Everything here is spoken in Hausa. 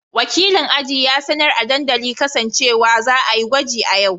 Wakilin aji ya sanar a dandalin kasa cewa za a yi gwaji a yau.